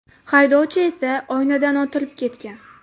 Haydovchi esa oynadan otilib ketgan.